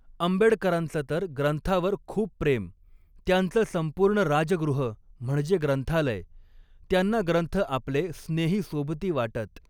आंबेडकरांच तर ग्रंथावर खूप प्रेम, त्यांचं संपूर्ण 'राजगृह' म्हणजे ग्रंथालय, त्यांना ग्रंथ आपले 'स्नेही सोबती' वाटत.